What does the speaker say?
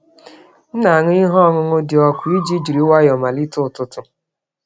M na-aṅụ ihe ọṅụṅụ dị ọkụ iji jiri nwayọọ malite ụtụtụ.